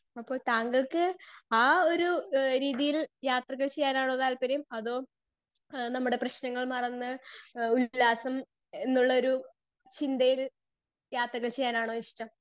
speaker 2 അപ്പൊ താങ്കൾക്ക് ആ ഒരു എഹ് രീതിയിൽ യാത്രകൾ ചെയ്യാനാണോ താല്പര്യം അതോ എഹ് നമ്മടെ പ്രേശ്നങ്ങൾ മറന്ന് എഹ് ഉല്ലാസം എന്നുള്ളൊരു ചിന്തയിൽ യാത്രകൾ ചെയ്യാനാണോ ഇഷ്ട്ടം